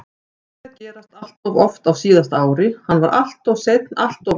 Þetta byrjaði að gerast alltof oft á síðasta ári, hann var alltof seinn alltof oft.